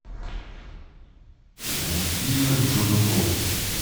фильмы с джудом лоу